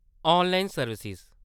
online service